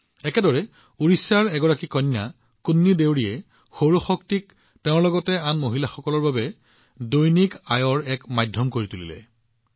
একেদৰে উৰিষ্যাৰ এগৰাকী কন্যা কুন্নী দেউৰীয়ে সৌৰ শক্তিক তেওঁৰ লগতে আন মহিলাসকলৰ বাবে নিযুক্তিৰ মাধ্যম কৰি তুলিছে